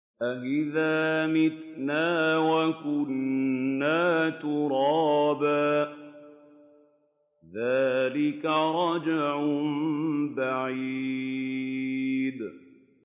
أَإِذَا مِتْنَا وَكُنَّا تُرَابًا ۖ ذَٰلِكَ رَجْعٌ بَعِيدٌ